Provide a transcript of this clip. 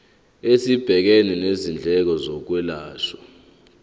esibhekene nezindleko zokwelashwa